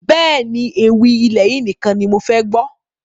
Bẹ́ẹ̀ni, ewì ilẹ̀ yìí nìkan ni mofẹ gbọ́